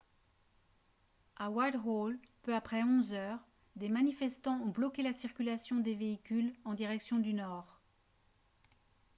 à whitehall peu après 11 h 00 des manifestants ont bloqué la circulation des véhicules en direction du nord